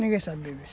Ninguém sabe beber.